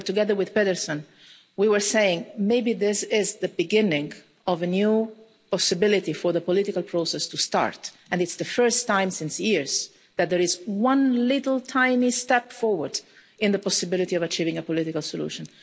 There, together with Geir Pedersen, we were saying that maybe this is the beginning of a new possibility for the political process to start, and it's the first time in years that there has been a tiny step forward on the possibility of achieving a political solution.